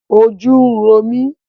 Ojú ń ro mí